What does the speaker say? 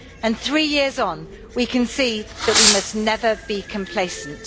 And three years on, we can see that we must never be complacent.